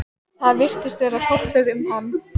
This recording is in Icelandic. Það virtist fara hrollur um hann.